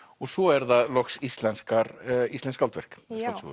svo er það loks íslensk íslensk skáldverk